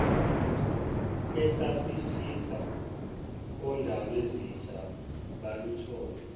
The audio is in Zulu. esasifisa ondabezitha baluthole